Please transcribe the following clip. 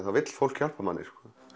þá vill fólk hjálpa manni